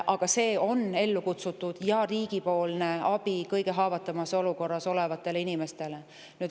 Aga see on ellu kutsutud selleks, et anda riigilt abi kõige haavatavamas olukorras olevatele inimestele.